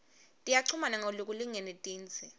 tiyachumana ngalokulingene tindze